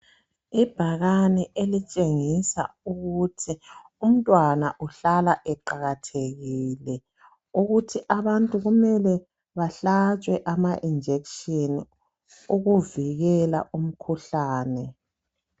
Ibhakane elishengisa ukuthi umntwana uhlala eqakathekile ukuthi abantu kumele bahlatshwe ama injekisheni okuvikela umkhuhlane.